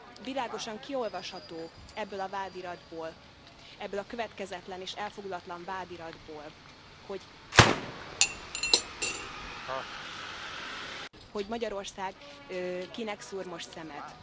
Világosan kiolvasható ebből a vádiratból, ebből a következetlen és elfogult vádiratból, hogy Magyarország kinek szúr most szemet.